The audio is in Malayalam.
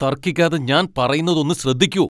തർക്കിക്കാതെ ഞാൻ പറയുന്നത് ഒന്ന് ശ്രദ്ധിക്കൂ.